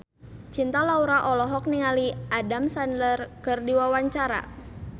Cinta Laura olohok ningali Adam Sandler keur diwawancara